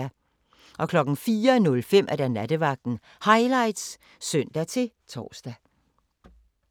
04:05: Nattevagten Highlights (søn-tor)